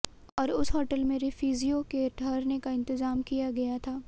और उस होटल में रिफ्यूजियों के ठहरने का इंतज़ाम किया गया था